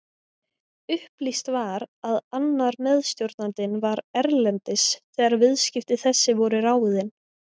Upplýst var að annar meðstjórnandinn var erlendis þegar viðskipti þessi voru ráðin.